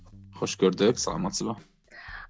қош көрдік саламатсыз ба